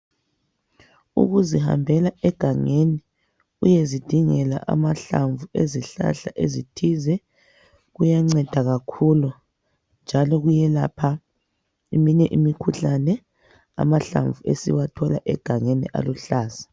Ukuzihambela egangeni uyezidingela amahlamvu ezihlahla ezithize kuyanceda kakhulu njalo kuyelapha eminye imikhuhlane amahlamvu esiwathola egangeni aluhlaza.